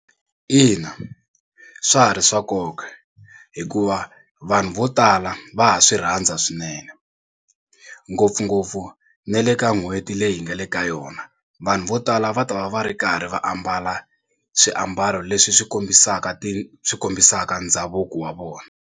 Ina swa ha ri swa nkoka hikuva vanhu vo tala va ha swi rhandza swinene ngopfungopfu ni le ka n'hweti leyi hi nga le ka yona vanhu vo tala va ta va va ri karhi va ambala swiambalo leswi swi kombisaka ti swi kombisaka ndhavuko wa vona.